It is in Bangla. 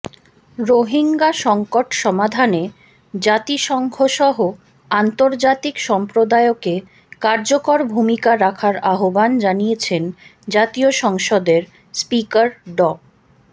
রোহিঙ্গা সংকট সমাধানে জাতিসংঘসহ আন্তর্জাতিক সম্প্রদায়কে কার্যকর ভূমিকা রাখার আহ্বান জানিয়েছেন জাতীয় সংসদের স্পিকার ড